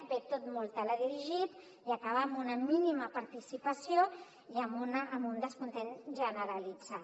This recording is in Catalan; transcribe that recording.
ve tot molt teledirigit i acaba amb una mínima participació i amb un descontentament generalitzat